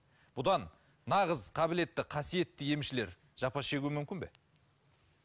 бұдан нағыз қабілетті қасиетті емшілер жапа шегуі мүмкін бе